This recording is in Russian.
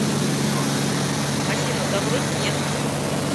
афина да вроде нет